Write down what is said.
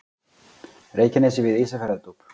Reykjanesi við Ísafjarðardjúp.